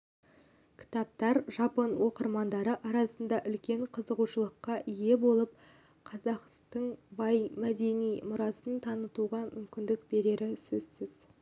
кітаптар жапон оқырмандары арасында үлкен қызығушылыққа ие болып қазақтын бай мәдени мұрасын тануғамүмкіндік берері сөзсіз